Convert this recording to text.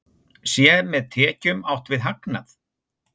Sé með tekjum átt við hagnað?